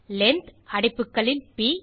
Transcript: length அடைப்புகளில் ப்